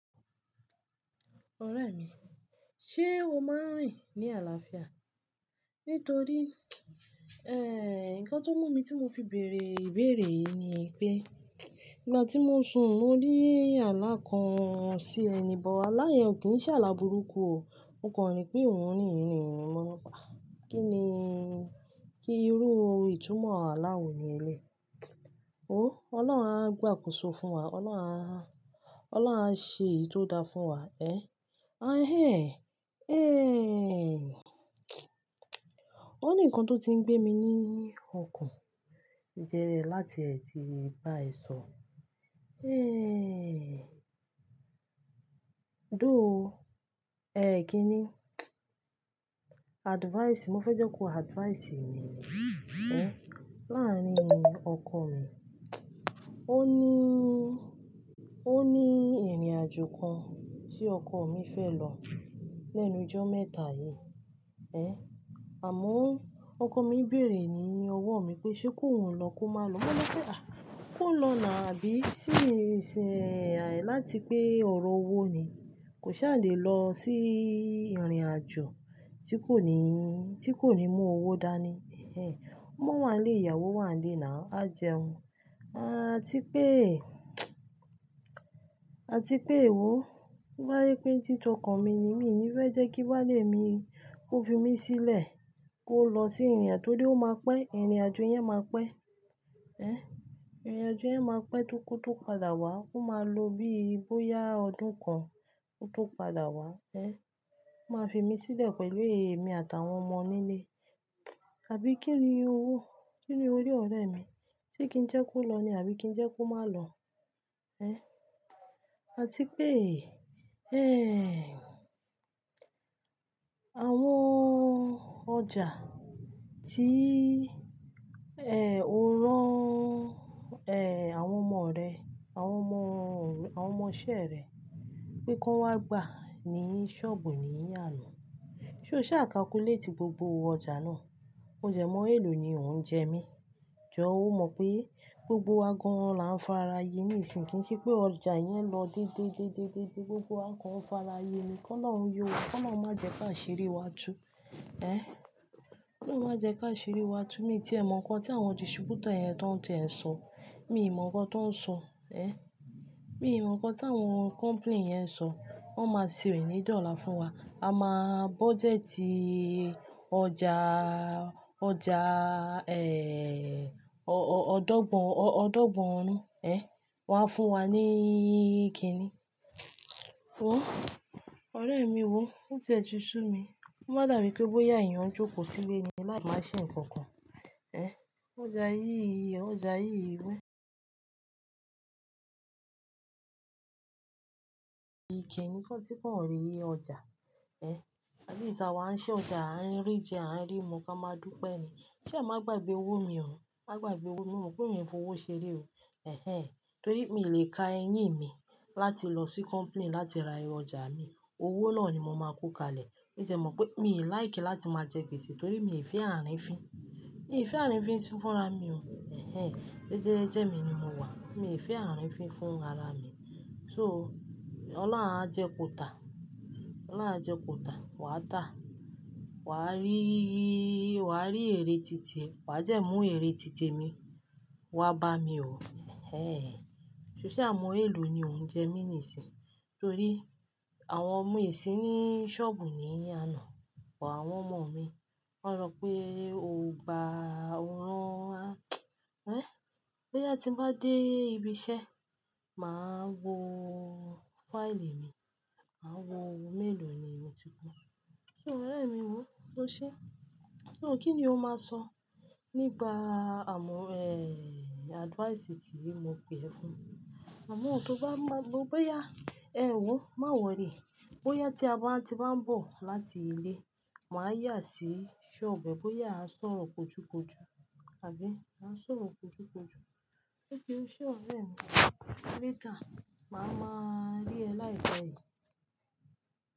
Ọ̀rẹ́ mi, ṣe o máa ń rìn ní àlàáfíà? Nítorí, nǹkan tó mú mi tí mo fi bèèrè ìbéèrè yìí ni pé, ìgbà tí mo sùn mo rí alá kan sí ẹ ni, bọ̀ alá yẹn ò kí ń ṣẹ́ alá burúkú o. Mo kàn rí pé òun nìyìí ni òun lọ́pa. Kí ni kí irú ìtumọ̀ aláwọ̀ ni ẹlẹ́yi Wo Ọlọ́run á gbà kúsọ fún wa, Ọlọ́run á, Ọlọ́run á ṣe eyi to dá fún wa, ahe. O ní ǹkan tó ti ń gbé mi ní ọkàn. Ó jẹ́ láti ètí bá èso. Dóò, kíni? Advice, mo fẹ́ jẹ́ kó advice mi, láàárín ọkọ mi. O ní, o ní ìrìnàjò kan tí ọkọ mi fẹ́ lọ lẹ́nu ijọ́ mẹ́ta yìí. Àmọ́ ọkọ mi béèrè ní ọwọ́ mi pé ṣe ki ohun lọ kó má lọ. Mo ní pé à, kó lọ nà á bí ṣì ṣe àì láti pé ọ̀rọ̀ owó ni. Kò ṣe àdí lọ sí ìrìnàjò tí kò ní, tí kò ní mú owó dáa ni. Omo wà lẹ́ ìyàwó wà lẹ́ náà, á jẹun. A ti pé, a ti pé èwọ̀, tobá jèpè tí tọkọ mi ni, mi ò ní fẹ́ jẹ́ kí bálé mi kó fi mí sílẹ̀ kó lọ sí ìrìnà torí ó máa pẹ́, ìrìnàjò yẹn máa pẹ́. Ìrìnàjò yẹn máa pẹ́ tó kó tó padà wá, ó máa lo bí i bóyá ọdún kan kó tó padà wá. Máa fi mí sílẹ̀ pẹ̀lú èmi àtàwọn ọmọ nílé. Àbí kíni owó, kíni orí ọ̀rẹ́ mi tí kì í jẹ́ kó lọ ni àbí kí jẹ́ kó má lọ? A ti pé, àwọn ọjà tí o rán àwọn ọmọ rẹ, àwọn ọmọ, àwọn ọmọ isẹ́ rẹ pé kó wá gbà ní sọ́ọ̀bù ní àná. Sé o ṣé à calculate gbogbo ọjà náà? Ó dẹ mọ́ èlò ni òun jẹ mí. Jọ́ ó mọ̀ pé gbogbo wa gan là ń fara yi ní ìsìn kì í ṣe pé ọjà yẹn lọ dédé, dé, dé, dé, gbogbo akọ ò fára yi ni. Ki olohun yọwa, ki olohun má jẹ ki asiri wá tú. Kí olohun má jẹ ki asiri wá tú. Mi tí è mọ̀ nǹkan tí àwọn distrubutor yẹn ti won ti e ń sọ. Mi ò mọ̀ nǹkan tó ń sọ. Mi ò mọ̀ nǹkan tí àwọn company yẹn ń sọ. Wọ́n máa sì rìn ní ìdí ọ̀la fún wa. A máa budgeti ọjà, ọjà ọ́, ọ́, ọ́, ọdọ́gbọ̀n, ọdọ́gbọ̀n ọ̀run wá fún wa ní kíni. Ọ̀rẹ́ mi wò ó ti ẹ ti sú mi. Ko má dà mí pé bóyá èèyàn ń jókòó sílé ni lái máa ṣe nǹkan kan. Ọjà yí, ọjà yí wò. Ìkíni fún tí kò rí ọjà. Atleast awa ń ṣe ọjà, a ń rí jẹ a ń rí mu ká máa dúpẹ́ ni. Sa máa gbàgbé owó mi o. Máa gbàgbé owó mi, o mope mi e fowó ṣe re o. Nítorí mi ò lè ka eyín mi láti lọ sí company láti ra ẹ ọjà mi. Owó náà ni mo máa kó kalẹ̀. Ó jẹ mọ̀ pé mi like láti máa jẹ gbèsè torí mi fẹ́ ààrin ìfin. Mi fẹ́ ààrin fin sí fún ara mi o. Jẹ́ jẹ́ mi ni mo wà. Mi fẹ́ ààrin fin fún ara mi. So Ọlọ́run á jẹ kota, Ọlọ́run á jẹ kota, wàá tà. Wa rí, wa rí èrè títì e, wà de mú èrè títì mi wá bá mi o. Sé sa mọ èlò ni òun jẹ mí ní ìsìn? Torí àwọn mi si ní sọ́ọ̀bù ní àná but àwọn ọmọ mi. Wọ́n rọ pé o gba òran wa. Bóyá tí n bá dé ibi iṣẹ́, màá wo fáìlì mi. Màá wo owó mélòó ni mo ti kó. So ọ̀rẹ́ mi wò o ṣe? So kí ni o máa sọ nígbà amọ advice tiyi mo pe ẹ fún mi. Àmọ́ tó bá mọ bóyá, ma worry Bóyá tí a bá ti máa ń bọ̀ láti ilé, màá yà sí sọ́ọ̀bù bóyá a sọ̀rọ̀ kojukoju. Àbí a sọ̀rọ̀ kojukoju. Ó ṣe ọ̀rẹ́ mi? Later, màá máa rí ẹ láìpẹ́ yìí.